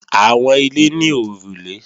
Àwọn ilé ní òrùlé